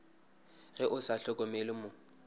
ge o sa hlokomele mo